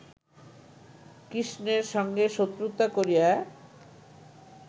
কৃষ্ণের সঙ্গে শত্রুতা করিয়া